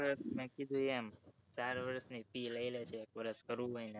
ચાર વર્ષ ની fee લઇ લેશે